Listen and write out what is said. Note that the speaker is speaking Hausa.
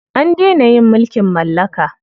An dena yin mulkin mallaka.